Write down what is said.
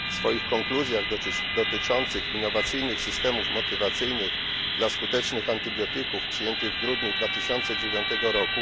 W swoich konkluzjach dotyczących innowacyjnych systemów motywacyjnych dla skutecznych antybiotyków przyjętych w grudniu 2009 r.